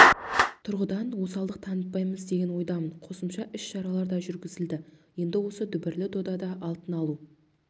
тұрғыдан осалдық танытпаймыз деген ойдамын қосымша іс-шаралар да жүргізілді енді осы дүбірлі додада алтын алу